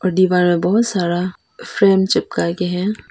दीवार मे बहुत सारा फ्रेम चिपका के है।